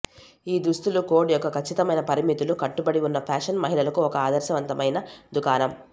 ఈ దుస్తుల కోడ్ యొక్క ఖచ్చితమైన పరిమితులు కట్టుబడి ఉన్న ఫ్యాషన్ మహిళలకు ఒక ఆదర్శవంతమైన దుకాణం